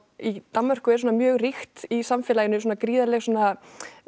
í Danmörku er svona mjög ríkt í samfélaginu svona gríðarleg svona